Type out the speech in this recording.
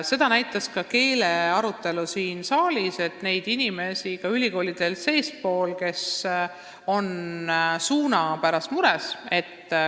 Seda näitas ka keelearutelu siin saalis, et ka ülikoolides on neid inimesi, kes on mures.